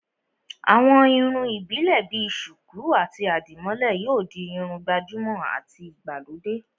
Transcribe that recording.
àwọn irun ìbílè bi sùkú àti àdìmólẹ̀ yóò di Irun gbàjúmọ̀ àti ìgbàlódé